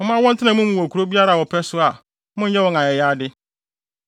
Momma wɔntena mo mu wɔ kurow biara a wɔpɛ so a monnyɛ wɔn ayayade.